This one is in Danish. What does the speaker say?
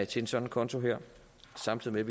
til en sådan konto samtidig med